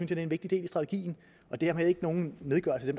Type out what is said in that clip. det er en vigtig del af strategien det er ikke nogen nedgørelse af